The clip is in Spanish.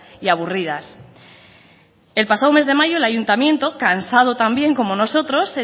y aburridas el pasado mes de mayo el ayuntamiento cansado también como nosotros